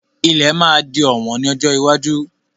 Ilẹ̀ máa di ọ̀wọ́n ní ọjọ́ iwájú.